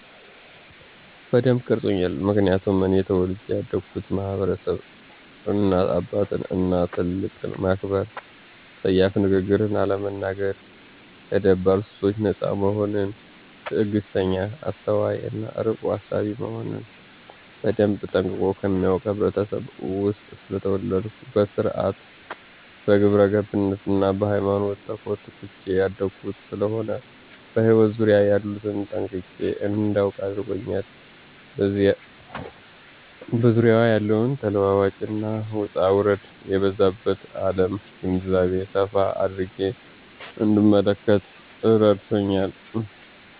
በደንብ ቀርጾኛል ምክንያቱም እኔ ተወልጀ ያደግሁበት ማህበረሰብ እናት አባትን እና ትልቅን ማክበር :ጸያፍ ንግግርን አለመናገር :ከደባል ሱሶች ነጻ መሆንን :ትግስተኛ :አስተዋይ እና አርቆ አሳቢ መሆንን በደንብ ጠንቅቆ ከሚያውቅ ህብረተሰብ ውስጥ ስለተወለድሁ በስርአት :በግብረገብነት እና በሃይማኖት ተኮትኩቸ ያደግሁ ስለሆነ በህይወት ዙሪያየ ያሉትን ጠንቅቄ እዳውቅ አድርጎኛል በዙሪያዋ ያለውን ተለዋዋጭ እና ውጣውረድ የበዛባት አለም ግንዛቤ ሰፋ አድርጌ እንድንመለከት እረድቶኛል።